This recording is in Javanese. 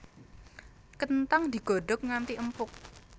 Kenthang digodhog nganti empuk